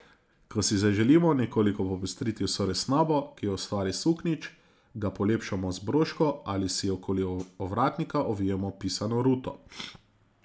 Ko si zaželimo nekoliko popestriti vso resnobo, ki jo ustvari suknjič, ga polepšamo z broško ali si okoli ovratnika ovijemo pisano ruto.